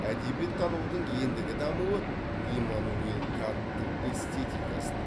әдебиеттанудың ендігі дамуы иммануил канттың эстетикасына